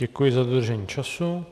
Děkuji za dodržení času.